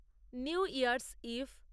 new year's eve